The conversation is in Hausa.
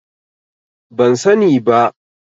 Ban sani ba.